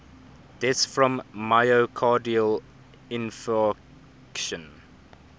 deaths from myocardial infarction